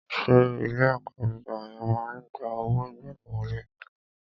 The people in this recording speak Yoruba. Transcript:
Ṣé ilé ẹ̀kọ́ gíga ẹ ma ń gba owó ìgbaniwọlé?